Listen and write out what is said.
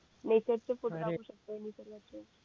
message चे photo टाकू शकतो